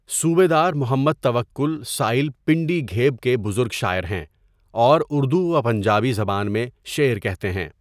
صوبیدارمحمد توکل سائل پنڈی گھیب کے بزرگ شاعر ہیں اور اردو و پنجابی زبان میں شعرکہتے ہیں.